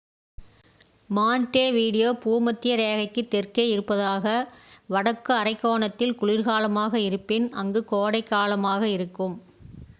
Montevideo பூமத்திய ரேகைக்கு தெற்கே இருப்பதால் வடக்கு அரைக்கோளத்தில் குளிர்காலமாக இருப்பின் அங்கு கோடை காலமாக இருக்கும்